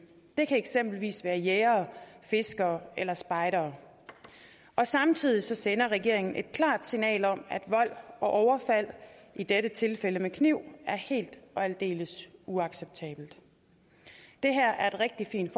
det kan eksempelvis være jægere fiskere eller spejdere samtidig sender regeringen et klart signal om at vold og overfald i dette tilfælde med kniv er helt og aldeles uacceptabelt det her er et rigtig fint